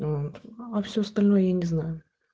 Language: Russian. а всё остальное я не знаю